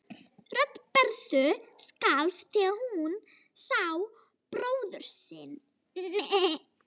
Rödd Berthu skalf þegar hún sá bróður sinn.